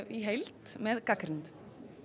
í heild með gagnrýnendum